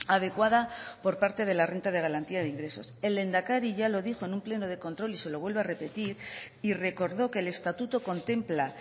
adecuada por parte de la renta de garantía de ingresos el lehendakari ya lo dijo en un pleno de control y se lo vuelvo a repetir y recordó que el estatuto contempla